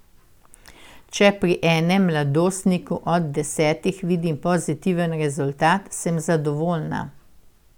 Če pri enem mladostniku od desetih vidim pozitiven rezultat, sem zadovoljna.